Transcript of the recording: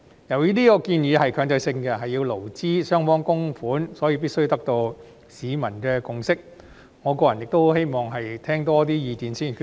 由於這個建議屬強制性，要勞資雙方供款，所以必須得到市民的共識，我個人亦希望多聽取意見後再作決定。